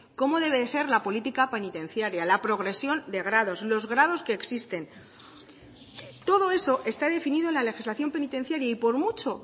cómo debe de ser la política penitenciaria la progresión de grados los grados que existen todo eso está definido en la legislación penitenciaria y por mucho